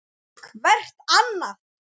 Hvert annað.